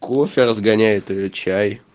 кофе разгоняет или чай